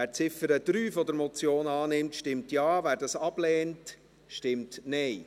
Wer die Ziffer 3 der Motion annimmt, stimmt Ja, wer dies ablehnt, stimmt Nein.